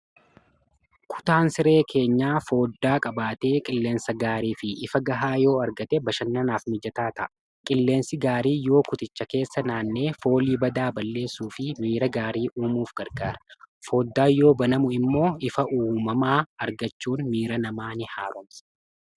kutaan siree keenya fooddaa qabaatee qilleensa gaarii fi ifa gahaa yoo argate bashannanaaf mijataa ta'a qilleensi gaarii yoo kuticha keessa naannee foolii badaa balleessuu fi miira gaarii uumuuf gargaara. fooddaa yoo banamu immoo ifa uumamaa argachuun miira namaa ni'i haaromsa.